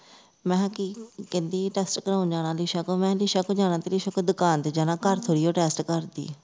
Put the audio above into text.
ਮੈਂਹ ਕੀ ਕਹਿੰਦੀ ਦਸ ਕਿਉਂ ਜਾਣਾ lisa ਕੋਲ lisa ਕੋਲ ਦੁਕਾਨ ਤੇ ਜਾਣਾ ਘੋੜਾ ਘੋੜੀ ਉਹ test ਕਰਦੀ ਹੈ